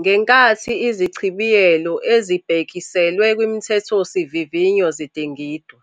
Ngenkathi izichibiyelo ezibhekiselwe kwiMithethosivi vinywa zidingidwa,